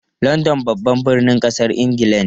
London babban birnin kasar Ingila ne.